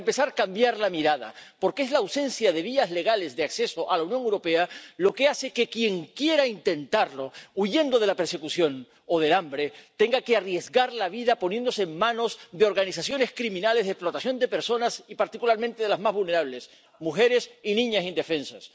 Para empezar, cambiar la mirada, porque es la ausencia de vías legales de acceso a la Unión Europea lo que hace que quien quiera intentarlo, huyendo de la persecución o del hambre, tenga que arriesgar la vida poniéndose en manos de organizaciones criminales de explotación de personas, y particularmente de las más vulnerables mujeres y niñas indefensas.